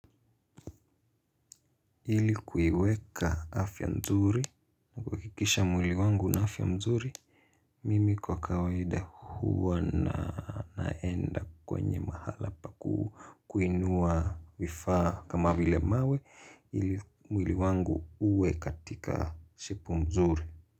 Ili kuiweka afya nzuri na kuhakikisha mwili wangu una afya nzuri mimi kwa kawaida huwa na naenda kwenye mahala pa kuinua vifa kama vile mawe ili mwili wangu uwe katika shepu mzuri.